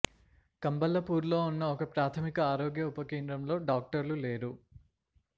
కంబళ్ళపూర్లో ఉన్న ఒక ప్రాథమిక ఆరోగ్య ఉప కేంద్రంలో డాక్టర్లు లేరు